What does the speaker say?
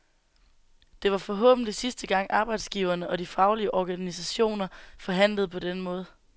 Det var forhåbentlig sidste gang arbejdsgiverne og de faglige organisationer forhandlede på denne måde.